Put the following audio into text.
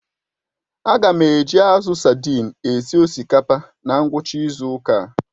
Aga m eji azụ sadin esi osikapa na ngwucha izu uka